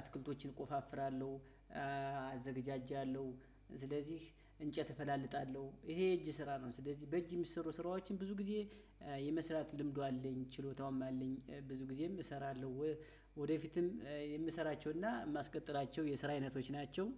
አትክልቶችን እቆፋፍራለሁ። አለሁ እንጨት እፈላልጣለሁ ይሄ የእጅ ስራ ነው። ስለዚህ በእጅ ሚሰሩ ስራወችን ብዙ ጊዜ የመስራት ልምዱ አለኝ ችሎታውም አለኝ። ብዙ ጊዜም እሰራለሁ። ወ ወደፊትም የምሰራቸው እና ማስቀጥላቸው የስራ አይነቶች ናቸው።